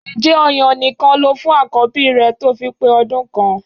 Ǹjẹ́ ọ̀yàn nìkan lo fún àkọ́bí rẹ tó fi pé ọmọ ọdún kan?